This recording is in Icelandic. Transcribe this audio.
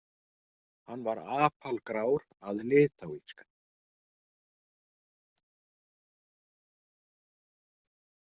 Hann var apalgrár að litáíska.